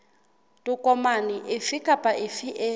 tokomane efe kapa efe e